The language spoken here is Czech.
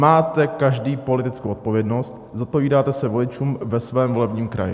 Máte každý politickou odpovědnost, zodpovídáte se voličům ve svém volebním kraji.